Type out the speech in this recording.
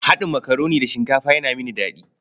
Haɗin makaroni da shinkafa yana mini daɗi.